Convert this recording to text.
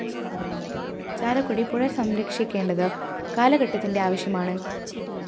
ചാലക്കുടി പുഴ സംരക്ഷിക്കേണ്ടത് കാലഘട്ടത്തിന്റെ ആവശ്യമാണ്